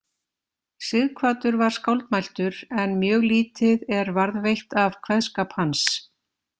Sighvatur var skáldmæltur en mjög lítið er varðveitt af kveðskap hans.